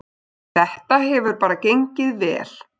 Þetta hefur bara gengið vel.